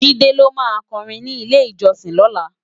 Jide ló má kòrin ni ilé-ijòsin lòlá